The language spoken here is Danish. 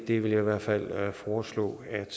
det vil jeg i hvert fald foreslå at